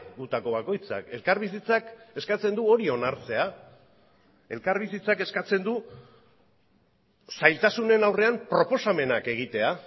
gutako bakoitzak elkarbizitzak eskatzen du hori onartzea elkarbizitzak eskatzen du zailtasunen aurrean proposamenak egitea